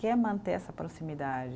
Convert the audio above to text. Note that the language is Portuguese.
Quer manter essa proximidade.